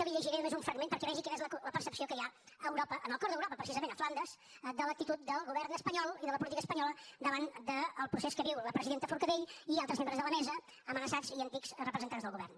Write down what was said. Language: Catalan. li’n llegiré només un fragment perquè vegi quina és la percepció que hi ha a europa en el cor d’europa precisament a flandes de l’actitud del govern espanyol i de la política espanyola davant del procés que viu la presidenta forcadell i altres membres de la mesa amenaçats i antics representants del govern